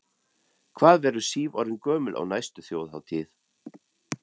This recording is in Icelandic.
Hvað verður Sif orðin gömul á næstu Þjóðhátíð?